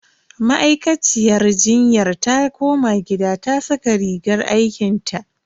Ma'aikaciyar jinyar ta koma gida ta saka rigar aikinta.